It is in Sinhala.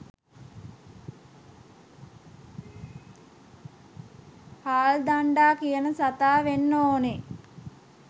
හාල් දණ්ඩා කියන සතා වෙන්න ඕනෙ